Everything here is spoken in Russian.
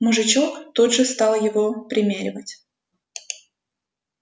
мужичок тут же стал его примеривать